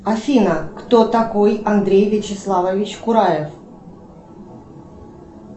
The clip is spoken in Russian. афина кто такой андрей вячеславович кураев